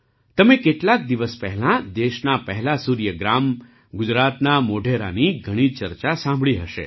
તમે કેટલાક દિવસ પહેલાં દેશના પહેલા સૂર્ય ગ્રામ ગુજરાતના મોઢેરાની ઘણી ચર્ચા સાંભળી હશે